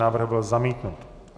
Návrh byl zamítnut.